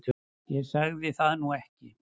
Ég sagði það nú ekki